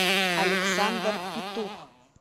александр петух